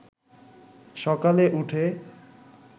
সকালে উঠে